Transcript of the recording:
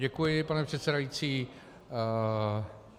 Děkuji, pane předsedající.